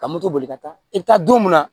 Ka moto boli ka taa i bɛ taa don munna